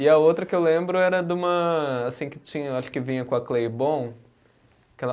E a outra que eu lembro era de uma, assim que tinha, acho que vinha com a